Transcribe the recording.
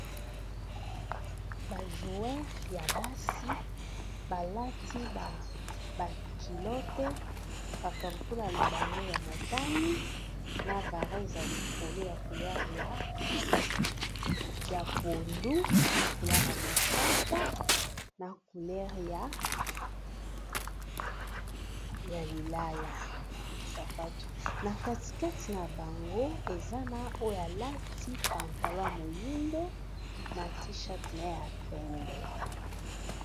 Ba joueur ya basi balati ba culote ba kaputula na bango ya motani na varese ya likolo ya couleur ya pondu, na couleur ya mosaka, na couleur ya lilala. Sapatu na katikati na bango ezana oyo alati pantalon ya moyindo na t-shirt ne ya pembe.